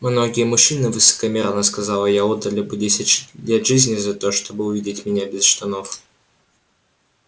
многие мужчины высокомерно сказала я отдали бы десять лет жизни только за то чтобы увидеть меня без штанов